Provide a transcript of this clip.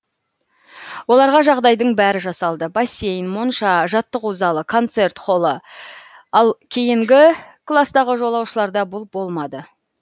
оларға жағдайдың бәрі жасалды бассейн монша жаттығу залы концерт холлы ал кейінгі кластағы жолаушыларда бұл болмады